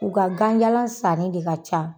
U ka ganjalan sannen de ka ca.